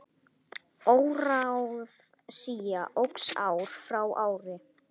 Óráðsía óx ár frá ári.